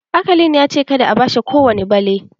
Akalin ya ce "Kada a bashi kowani bale"!.